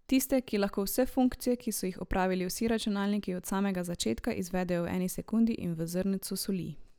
Tiste, ki lahko vse funkcije, ki so jih opravili vsi računalniki od samega začetka, izvedejo v eni sekundi in v zrncu soli?